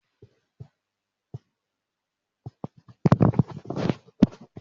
Mo máa se núdùsù láàárọ̀ ọ̀la.